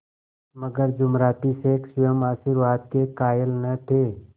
मगर जुमराती शेख स्वयं आशीर्वाद के कायल न थे